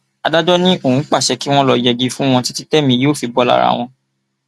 adájọ ni òun pàṣẹ kí wọn lọọ yẹgi fún wọn títí tí èmi yóò fi bò lára wọn